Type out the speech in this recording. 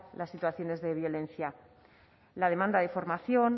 las situaciones de violencia la demanda de formación